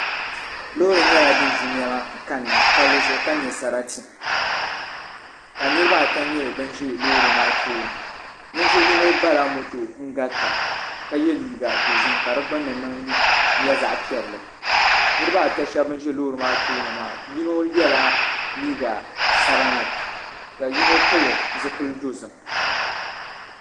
Loori nyɛla din ʒi niɛma kanna palli zuɣu ka nyɛ sarati ka niraba ata nyɛ bin ʒi loori maa tooni ninvuɣu yino bala moto garita ka yɛ liiga dozim ka di gbunni nyɛ zaɣ piɛlli niraba ata shab n ʒi loori maa tooni maa yino yɛla liiga sabinli ka yino pili zipili dozim